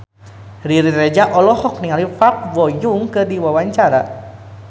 Riri Reza olohok ningali Park Bo Yung keur diwawancara